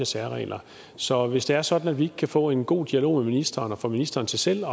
særregler så hvis det er sådan at vi kan få en god dialog med ministeren og få ministeren til selv